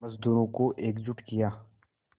मज़दूरों को एकजुट किया